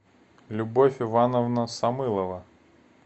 любовь ивановна самылова